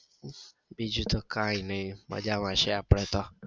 બીજું તો કાંઈ નઈ મજામાં છીએ આપડે તો.